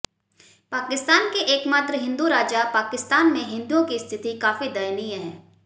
पाकिस्तान के एकमात्र हिन्दू राजा पाकिस्तान में हिंदुओं की स्थिति काफी दयनीय है